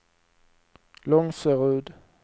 Långserud